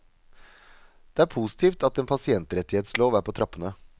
Det er positivt at en pasientrettighetslov er på trappene.